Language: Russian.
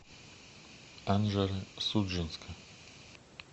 анжеро судженска